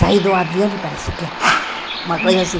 Sai do avião e parece que ah... Uma coisa assim.